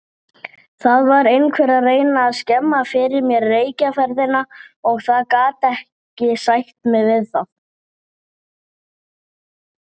En hvað er að óttast?